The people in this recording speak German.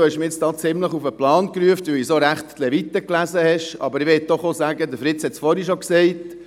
Ich möchte aber auch sagen, was bereits Fritz Wyss gesagt hat: